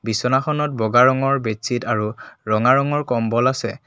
বিচনাখনত বগা ৰঙৰ বেড ছিত আৰু ৰঙা ৰঙৰ কম্বল আছে।